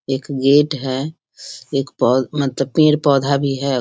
एक गेट है। एक पौ मतलब पेड़-पौधा भी है।